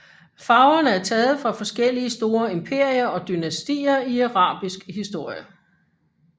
Farverne er taget fra forskellige store imperier og dynastier i arabisk historie